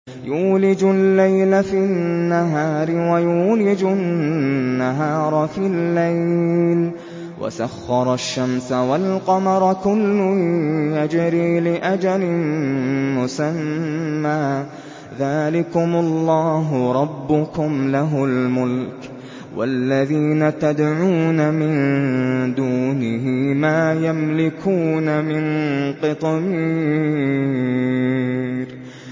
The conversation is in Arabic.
يُولِجُ اللَّيْلَ فِي النَّهَارِ وَيُولِجُ النَّهَارَ فِي اللَّيْلِ وَسَخَّرَ الشَّمْسَ وَالْقَمَرَ كُلٌّ يَجْرِي لِأَجَلٍ مُّسَمًّى ۚ ذَٰلِكُمُ اللَّهُ رَبُّكُمْ لَهُ الْمُلْكُ ۚ وَالَّذِينَ تَدْعُونَ مِن دُونِهِ مَا يَمْلِكُونَ مِن قِطْمِيرٍ